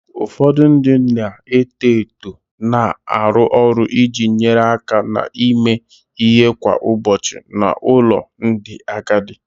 Ụfọdụ ndị na-eto eto na-arụ ọrụ iji nyere aka na-eme ihe kwa ụbọchị n'ụlọ ndị agadi